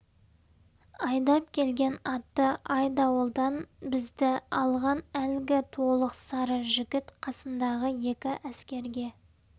айдап келген атты айдауылдан бізді алған әлгі толық сары жігіт қасындағы екі әскерге